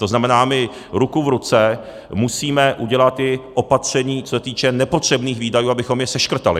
To znamená, my ruku v ruce musíme udělat i opatření, co se týče nepotřebných výdajů, abychom je seškrtali.